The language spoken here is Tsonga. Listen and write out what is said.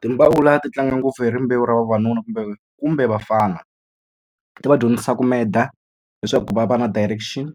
ti tlanga ngopfu hi rimbewu ra vavanuna kumbe kumbe vafana ti va dyondzisabku meta leswaku va va na direction